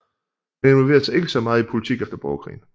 Han involverede sig ikke så meget i politik efter borgerkrigen